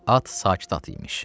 At sakit at imiş.